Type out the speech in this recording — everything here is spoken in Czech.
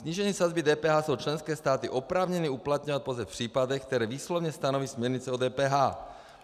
Snížení sazby DPH jsou členské státy oprávněny uplatňovat pouze v případech, které výslovně stanoví směrnice o DPH.